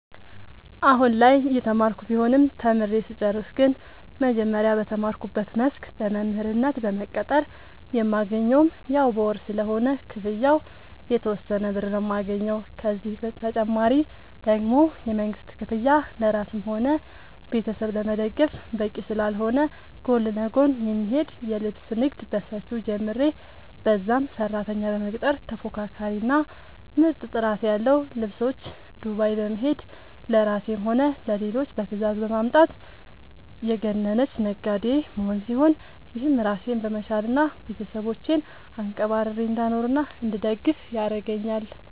አሁላይ እየተማርኩ ቢሆንም ተምሬ ስጨርስ ግን መጀመሪያ በተማርኩበት መስክ በመምህርነት በመቀጠር የማገኘውም ያው በወር ስለሆነ ክፍያው የተወሰነ ብር ነው የማገኘው፤ ከዚህ ተጨማሪ ደግሞ የመንግስት ክፍያ ለራስም ሆነ ቤተሰብ ለመደገፍ በቂ ስላልሆነ ጎን ለጎን የሚሄድ የልብስ ንግድ በሰፊው ጀምሬ በዛም ሰራተኛ በመቅጠር ተፎካካሪ እና ምርጥ ጥራት ያለው ልብሶች ዱባይ በመሄድ ለራሴም ሆነ ለሌሎች በትዛዝ በማምጣት የገነነች ነጋዴ መሆን ሲሆን፤ ይህም ራሴን በመቻል እና ቤተሰቦቼን አንቀባርሬ እንዳኖርናእንድደግፍ ያረገአኛል።